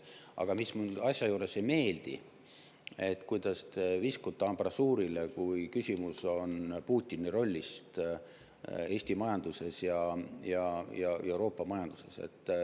Aga mis mulle asja juures ei meeldi, on see, kuidas te viskute ambrasuurile, kui küsimus on Putini rollist Eesti majanduses ja Euroopa majanduses.